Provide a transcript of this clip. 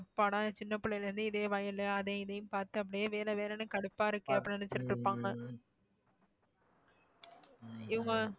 அப்பாடா சின்ன பிள்ளையில இருந்து இதே வயலு அதையும் இதையும் பார்த்து அப்படியே வேலை வேலைன்னு கடுப்பா இருக்கு அப்படின்னு நினைச்சுட்டு இருப்பாங்க இவங்க